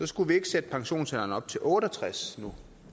skulle vi ikke sætte pensionsalderen op til otte og tres nu